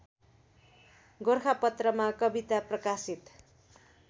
गोरखापत्रमा कविता प्रकाशित